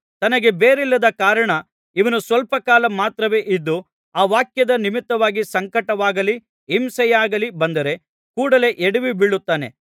ತನಗೆ ಬೇರಿಲ್ಲದ ಕಾರಣ ಇವನು ಸ್ವಲ್ಪ ಕಾಲ ಮಾತ್ರವೇ ಇದ್ದು ಆ ವಾಕ್ಯದ ನಿಮಿತ್ತವಾಗಿ ಸಂಕಟವಾಗಲಿ ಹಿಂಸೆಯಾಗಲಿ ಬಂದರೆ ಕೂಡಲೆ ಎಡವಿ ಬೀಳುತ್ತಾನೆ